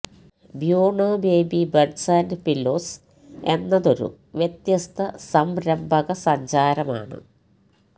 Bueno baby beds and pillows എന്നതൊരു വ്യത്യസ്ത സംരംഭകസഞ്ചാരമാണ്